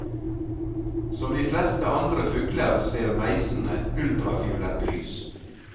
Som de fleste andre fugler ser meisene ultrafiolett lys.